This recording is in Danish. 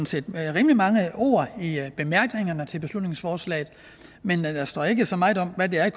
set rimelig mange ord i bemærkningerne til beslutningsforslaget men der står ikke så meget om hvad det er